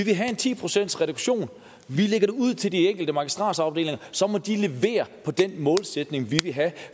vil have en ti procentsreduktion vi lægger det ud til de enkelte magistratsafdelinger så må de levere på den målsætning vi vil have